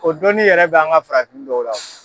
O doni yɛrɛ bɛ' an ka farafin dɔw la o.